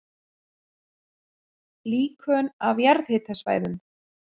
Líkön af jarðhitasvæðum